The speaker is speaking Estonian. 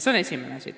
See on esimene asi.